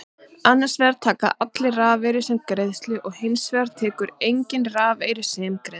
Annars vegar taka allir rafeyri sem greiðslu og hins vegar tekur enginn rafeyri sem greiðslu.